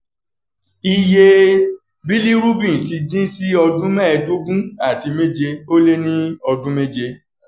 iye bilirubin ti dín sí ọdún mẹ́ẹ̀ẹ́dógún àti méje ó lé ní ọdún méje